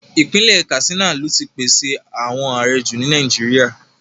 Ipinle Katsina lo ti pese awọn aarẹ ju ni Nàìjíríà